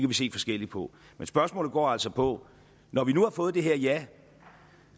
vi se forskelligt på men spørgsmålet går altså på når vi nu har fået det her ja